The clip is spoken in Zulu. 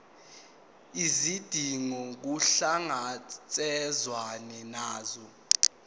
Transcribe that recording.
izidingo kuhlangatshezwane nazo